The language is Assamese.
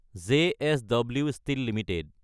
JSW steel Ltd